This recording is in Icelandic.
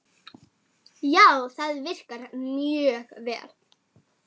Já, það virkar mjög vel.